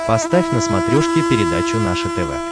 поставь на смотрешке передачу наше тв